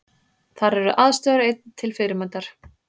Þar eru aðstæður einnig til fyrirmyndar